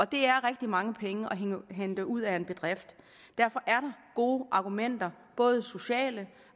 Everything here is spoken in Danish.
det er rigtig mange penge at hente ud af en bedrift derfor er der gode argumenter både sociale